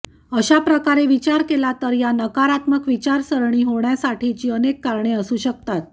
अशा प्रकारे विचार केला तर या नकारात्मक विचारसरणी होण्यासाठीची अनेक कारणे असू शकतात